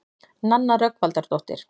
Nanna Rögnvaldardóttir.